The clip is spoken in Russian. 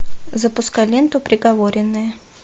запускай ленту приговоренные